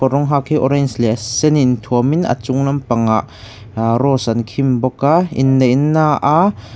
kawr rawng hak hi orange leh sen in thuam in a chung lampangah ahh rose an khim bawk a inneihna aa--